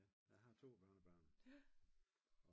Ja jeg har 2 børnebørn